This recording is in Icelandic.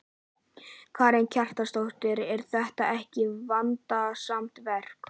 Karen Kjartansdóttir: Er þetta ekki vandasamt verk?